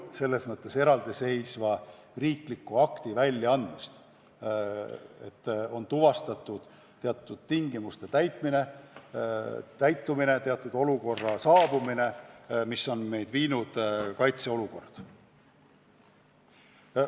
See ei nõua eraldiseisva riikliku akti väljaandmist, kus on öeldud, et on tuvastatud teatud tingimuste täitumine, teatud olukorra teke, mis on meid viinud kaitseolukorda.